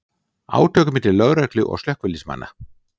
Átök milli lögreglu og slökkviliðsmanna